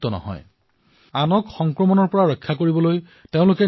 এওঁলোকে আনক সংক্ৰমণৰ পৰা ৰক্ষা কৰিবলৈ নিজকে আচুতীয়াকৈ ৰাখিছে